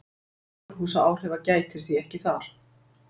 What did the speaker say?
Gróðurhúsaáhrifa gætir því ekki þar.